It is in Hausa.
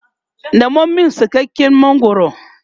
Nemo min sassaken mangwaro!